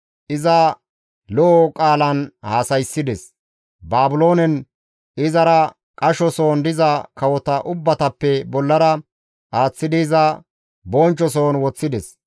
Iza lo7o qaalan haasayssides; Baabiloonen izara qashoson diza kawota ubbatappe bollara aaththidi iza bonchchoson woththides.